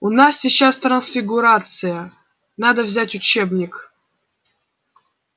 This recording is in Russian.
у нас сейчас трансфигурация надо взять учебник